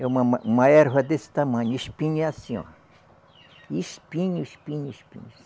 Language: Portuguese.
É uma ma, uma erva desse tamanho, espinho é assim, ó. Espinho, espinho, espinho.